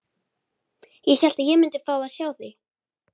Ég hélt að ég myndi fá að sjá þig.